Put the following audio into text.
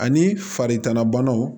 Ani farigan banaw